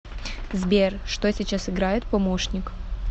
сбер что сейчас играет помощник